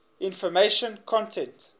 information content